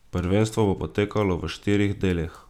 Prvenstvo bo potekalo v štirih delih.